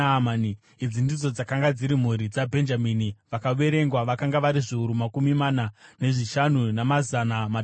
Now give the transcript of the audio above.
Idzi ndidzo dzakanga dziri mhuri dzaBhenjamini; vakaverengwa vakanga vari zviuru makumi mana nezvishanu, namazana matanhatu.